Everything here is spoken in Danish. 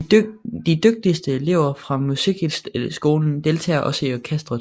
De dygtigste elever fra musikskolen deltager også i orkestret